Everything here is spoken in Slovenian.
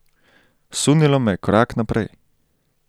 Sunilo me je korak naprej.